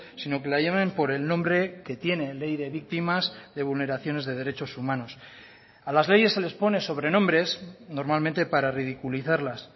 sino que la llamen por el nombre que tiene ley de víctimas de vulneraciones de derechos humanos a las leyes se les pone sobrenombres normalmente para ridiculizarlas